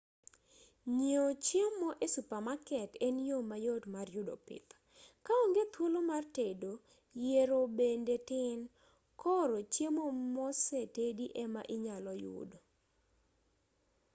nyiewo chiemo e supamaket en yo mayot mar yudo pith ka onge thuolo mar tedo yiero bende tin koro chiemo mose tedi ema inyalo yudo